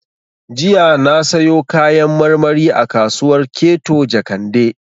Jiya na sayo Kayan marmari a kasuwar Keto Jakande